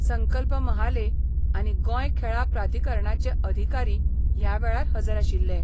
संकल्प महाले आनी गोंय खेळां प्राधिकरणाचे अधिकारी हया वेळार हजर आशिल्ले.